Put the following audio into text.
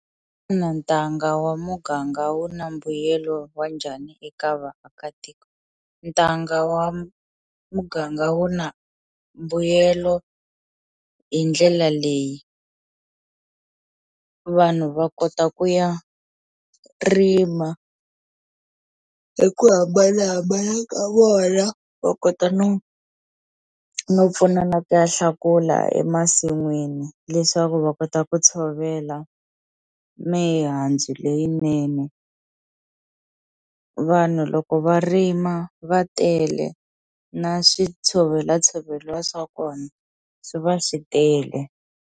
ntanga wa muganga wu na mbuyelo wa njhani eka vaakatiko ntanga wa muganga wu na mbuyelo hi ndlela leyi, vanhu va kota ku ya rima hi ku hambanahambana ka vona va kota no no pfunana ku ya hlakula emasin'wini leswaku va kota ku tshovela mihandzu leyinene vanhu loko va rima va tele na swi tshovela tshoveliwa swa kona swi va swi tele.